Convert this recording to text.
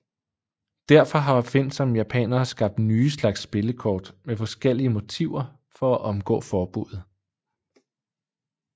Derfor har opfindsomme japanere skabt nye slags spillekort med forskellige motiver for at omgå forbuddet